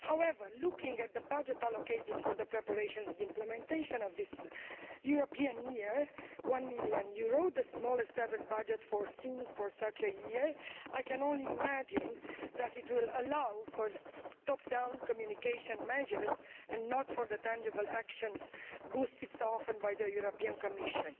However, looking at the budget allocated for the preparation and implementation of this European Year EUR 1 million, the smallest ever budget envisaged for such a year I can only imagine that it will allow for top down communication measures and not for the tangible actions boosted so often by the Commission.